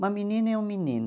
Uma menina e um menino.